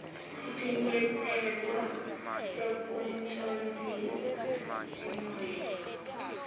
tinyatselo tekucondzisa tigwegwe